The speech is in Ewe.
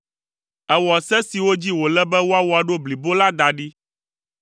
Èwɔ se siwo dzi wòle be woawɔ ɖo blibo la da ɖi.